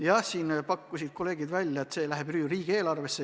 Ja kolleegid pakkusid välja, et see raha läheb riigieelarvesse.